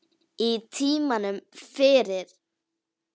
Á tímanum fyrir